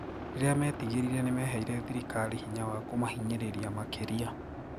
Riria metigerire nimeheire thirikari hinya wa kumahinyiriria makiria."